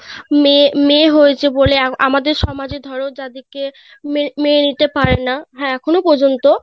মেয়ে~ মেয়ে হয়েছে বলে আমা~ আমাদের সমাজে ধরো যাদের কে মে~ মেনে নিতে পারেন না এখনো পর্যন্ত;